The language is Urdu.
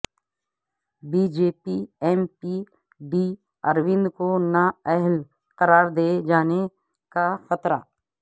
بی جے پی ایم پی ڈی اروند کو نا اہل قرار دئے جانے کا خطرہ